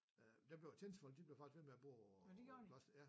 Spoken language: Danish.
Øh der blev tjenestefolk de blev faktisk ved med at bo øh på klosteret ja